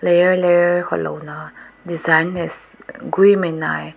layer layer ko loa na designs kagui na tai.